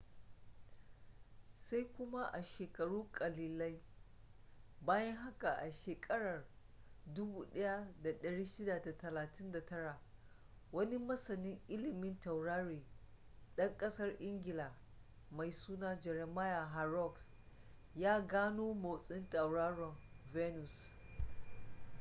sai kuma a sheakaru kalilian bayan haka a shekarar 1639 wani masanin ililmin taurari dan kasar ingila mai suna jeremiah horrocks ya gano motsin tauraron venus